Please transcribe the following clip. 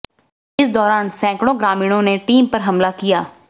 इस दौरान सैकड़ों ग्रामीणों ने टीम पर हमला किया